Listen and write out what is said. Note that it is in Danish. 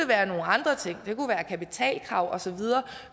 være nogle andre ting det kunne være kapitalkrav og så videre